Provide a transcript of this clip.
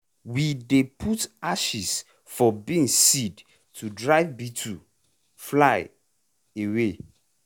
we dey put ashes for beans seed to drive beetle(fly) away.